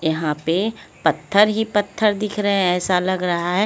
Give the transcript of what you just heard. यहां पे पत्थर ही पत्थर दिख रे है ऐसा लग रहा है--